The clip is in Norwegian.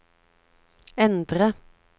endre